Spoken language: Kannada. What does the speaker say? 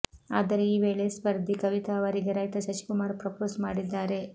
ಆದರೆ ಈ ವೇಳೆ ಸ್ಪರ್ಧಿ ಕವಿತಾ ಅವರಿಗೆ ರೈತ ಶಶಿಕುಮಾರ್ ಪ್ರಪೋಸ್ ಮಾಡಿದ್ದಾರೆ